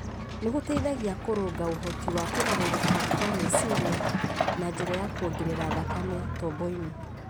nĩ gũteithagia kũrũnga ũhoti wa kũgarũrũka kwa meciria na njĩra ya kwongerera thakame tomboinĩ.